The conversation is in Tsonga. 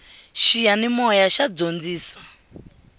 xiyanimoya xa dyondzisa